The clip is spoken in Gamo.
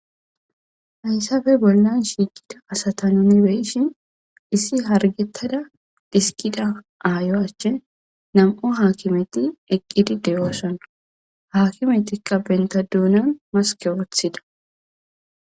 Hayssappe bollan shiikida asata nuni beyshin issi hargettada xisikida aayo achche nam'o haakimeti eqqidi dooson .Haakimetikka benta doonan maske woththida.